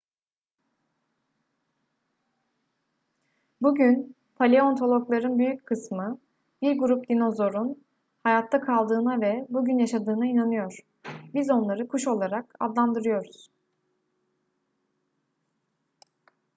bugün paleontologların büyük kısmı bir grup dinozorun hayatta kaldığına ve bugün yaşadığına inanıyor biz onları kuş olarak adlandırıyoruz